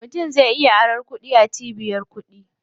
Mutum zai iya aron kuɗi a cibiyar kuɗi.